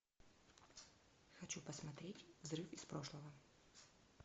хочу посмотреть взрыв из прошлого